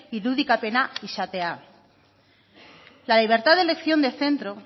irudikapena izatea la libertad de elección de centro